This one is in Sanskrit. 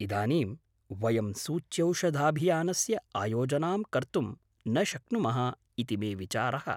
इदानीं, वयं सूच्यौषधाभियानस्य आयोजनां कर्तुं न शक्नुमः इति मे विचारः।